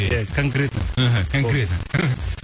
иә конкретно іхі конкретно іхі